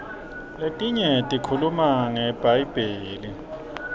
letinye tikhuluma ngebhayibheli